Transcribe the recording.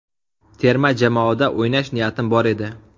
Terma jamoada o‘ynash niyatim bor edi.